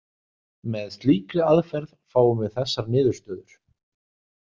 Með slíkri aðferð fáum við þessar niðurstöður